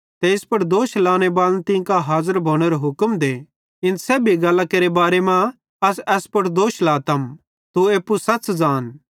ते इस पुड़ दोष लाने बाले तीं कां हाज़र भोनेरो हुक्म दे इन सेब्भी गल्लां केरे बारे मां अस एस पुड़ दोष लातम तू एप्पू सच़ ज़ान